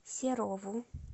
серову